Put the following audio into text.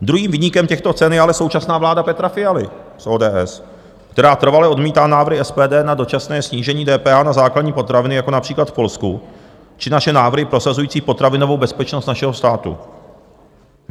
Druhým viníkem těchto cen je ale současná vláda Petra Fialy z ODS, která trvale odmítá návrhy SPD na dočasné snížení DPH na základní potraviny jako například v Polsku či naše návrhy prosazující potravinovou bezpečnost našeho státu.